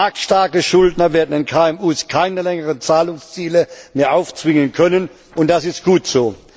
Marktstarke Schuldner werden den KMU keine längeren Zahlungsziele mehr aufzwingen können, und das ist gut so.